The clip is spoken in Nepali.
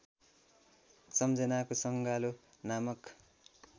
सम्झनाको संगालो नामक